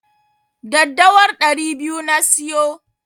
Daddawar ɗari biyu na siyo.